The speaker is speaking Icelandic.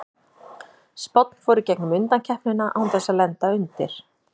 Spánn fór í gegnum undankeppnina án þess að lenda undir.